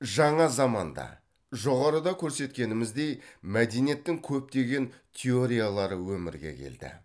жаңа заманда жоғарыда көрсеткеніміздей мәдениеттің көптеген теориялары өмірге келді